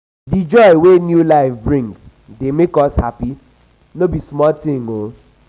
di joy wey new life bring dey make us happy no be small tin.